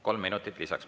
Kolm minutit lisaks.